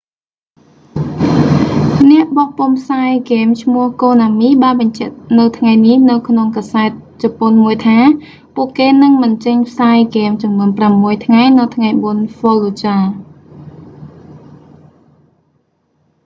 អ្នកបោះពុម្ពផ្សាយហ្គេមឈ្មោះ konami បានបញ្ជាក់នៅថ្ងៃនេះនៅក្នុងកាសែតជប៉ុនមួយថា ពួកគេនឹងមិនចេញផ្សាយហ្គេមចំនួនប្រាំមួយថ្ងៃនៅថ្ងៃបុណ្យ fallujah